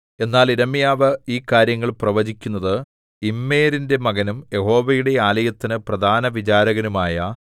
എന്നാൽ യിരെമ്യാവ് ഈ കാര്യങ്ങൾ പ്രവചിക്കുന്നത് ഇമ്മേരിന്റെ മകനും യഹോവയുടെ ആലയത്തിന് പ്രധാനവിചാരകനുമായ